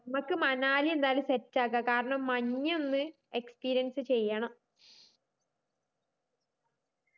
മ്മക്ക് മണാലി എന്തായാലും set ആക്ക കാരണം മഞ്ഞൊന്ന് experience ചെയ്യണം